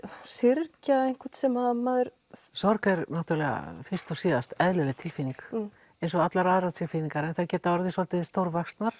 syrgja einhvern sem að maður sorg er náttúrulega fyrst og síðast eðlileg tilfinning eins og allar aðrar tilfinningar þær geta orðið svolítið stórvaxnar